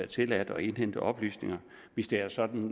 tilladt at indhente oplysninger hvis det er sådan